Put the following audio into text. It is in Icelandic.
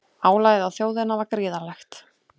Álagið á þjóðina var gríðarlegt